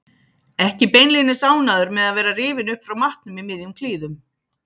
Ekki beinlínis ánægður með að vera rifinn upp frá matnum í miðjum klíðum.